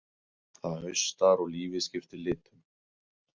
Það haustar að og lífið skiptir litum.